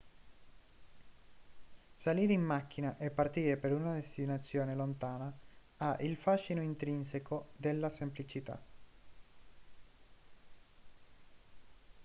salire in macchina e partire per una destinazione lontana ha il fascino intrinseco della semplicità